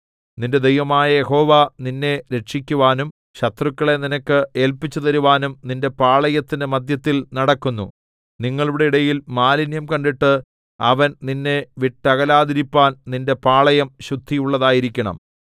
നിന്റെ ദൈവമായ യഹോവ നിന്നെ രക്ഷിക്കുവാനും ശത്രുക്കളെ നിനക്ക് ഏല്പിച്ചുതരുവാനും നിന്റെ പാളയത്തിന്റെ മദ്ധ്യത്തിൽ നടക്കുന്നു നിങ്ങളുടെ ഇടയിൽ മാലിന്യം കണ്ടിട്ട് അവൻ നിന്നെ വിട്ടകലാതിരിപ്പാൻ നിന്റെ പാളയം ശുദ്ധിയുള്ളതായിരിക്കണം